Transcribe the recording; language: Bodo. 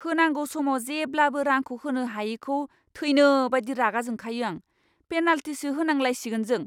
होनांगौ समाव जेब्लाबो रांखौ होनो हायैखौ थैनोबायदि रागाजोंखायो आं, पेनालटिसो होनांलायसिगोन जों।